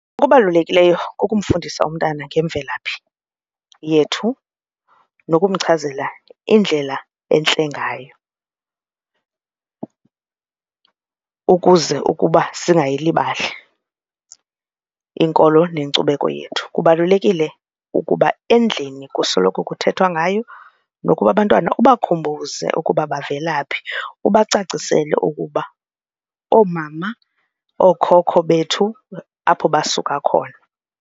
Okubalulekileyo kukumfundisa umntana ngemvelaphi yethu nokumchazela indlela entle ngayo ukuze ukuba singayilibali inkolo nenkcubeko yethu. Kubalulekile ukuba endlini kusoloko kuthethwa ngayo nokuba abantwana ubakhumbuze ukuba bavela phi ubacacisele ukuba oomama, ookhokho bethu apho basuka khona.